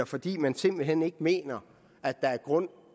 fordi man simpelt hen ikke mener at der er grund